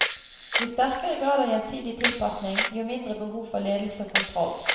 Jo sterkere grad av gjensidig tilpasning, jo mindre behov for ledelse og kontroll.